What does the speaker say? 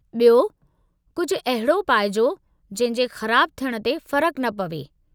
बि॒यो, कुझु अहिड़ो पाइजो जंहिं जे ख़राबु थियण ते फ़र्कु न पवे!